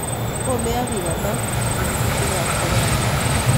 Komeeyo biik ata en kuutikaab corons